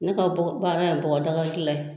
Ne ka baara ye bɔgɔdagadilan ye